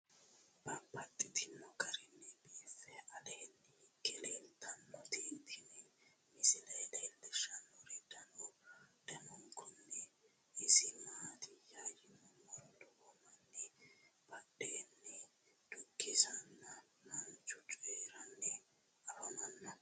Babaxxittinno garinni biiffe aleenni hige leelittannotti tinni misile lelishshanori danu danunkunni isi maattiya yinummoro lowo manni badheenni dukkiseenna manchu coyiiranni affammanno